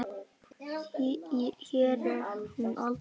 Hér er hún aldrei veik.